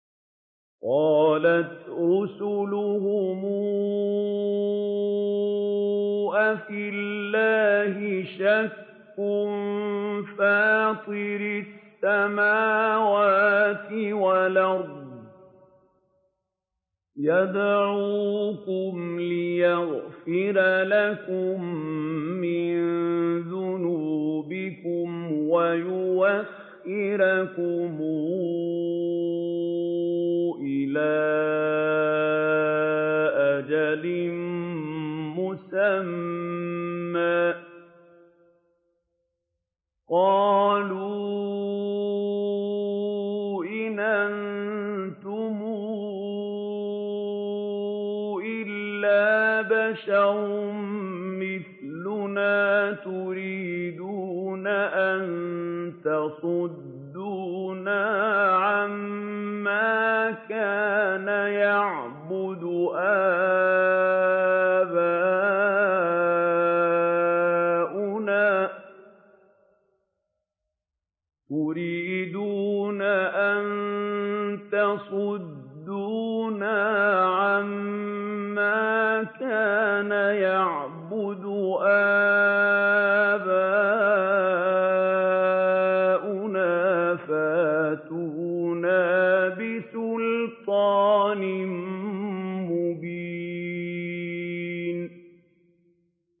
۞ قَالَتْ رُسُلُهُمْ أَفِي اللَّهِ شَكٌّ فَاطِرِ السَّمَاوَاتِ وَالْأَرْضِ ۖ يَدْعُوكُمْ لِيَغْفِرَ لَكُم مِّن ذُنُوبِكُمْ وَيُؤَخِّرَكُمْ إِلَىٰ أَجَلٍ مُّسَمًّى ۚ قَالُوا إِنْ أَنتُمْ إِلَّا بَشَرٌ مِّثْلُنَا تُرِيدُونَ أَن تَصُدُّونَا عَمَّا كَانَ يَعْبُدُ آبَاؤُنَا فَأْتُونَا بِسُلْطَانٍ مُّبِينٍ